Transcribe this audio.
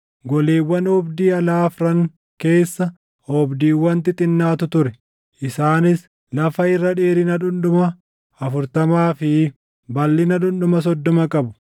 Goleewwan oobdii alaa afran keessa oobdiiwwan xixinnaatu ture; isaanis lafa irra dheerina dhundhuma afurtamaa fi balʼina dhundhuma soddoma qabu; balʼinni tokkoo tokkoo oobdiiwwan goleewwan afran keessa jiranii wal qixxee ture.